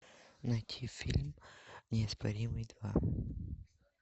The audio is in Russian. найти фильм неоспоримый два